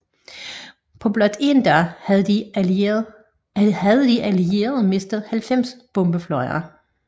På blot en dag havde de Allierede mistet 90 bombefly